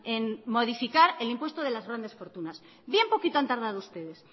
en modificar el impuesto de las grandes fortunas bien poquito han tardado ustedes